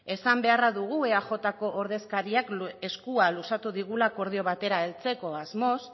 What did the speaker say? esan beharra dugu eajko ordezkariak eskua luzatu digula akordio batera heltzeko asmoz